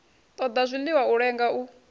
ṱoḓa zwiḽiwa a lenga u